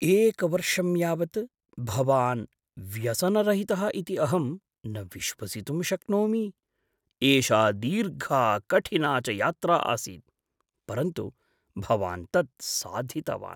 एकवर्षं यावत् भवान् व्यसनरहितः इति अहं न विश्वसितुं शक्नोमि। एषा दीर्घा कठिना च यात्रा आसीत्, परन्तु भवान् तत् साधितवान्।